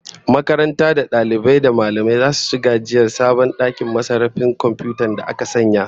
Makarantar da dalibai da mallamai zasu ci gajiyar sabon dakin sarrafa na'urar komfiyuta da aka sanya